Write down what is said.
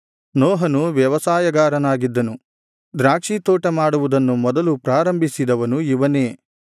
ನೋಹನು ವ್ಯವಸಾಯಗಾರನಾಗಿದ್ದನು ದ್ರಾಕ್ಷಿ ತೋಟ ಮಾಡುವುದನ್ನು ಮೊದಲು ಪ್ರಾರಂಭಿಸಿದವನು ಇವನೇ